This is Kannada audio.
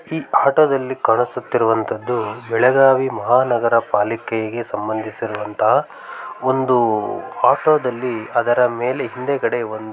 ಈ ಆಟದಲ್ಲಿ ಕಾಣಿಸುತ್ತಿರುವಂತದ್ದು ಬೆಳಗಾವಿ ಮಹಾನಗರ ಪಾಲಿಕೆಗೆ ಸಂಬಂಧಿಸಿರುವಂತ ಒಂದು ಆಟೋದಲ್ಲಿ ಅದರ ಮೇಲೆ ಹಿಂದೆಗಡೆ ಒಂದು --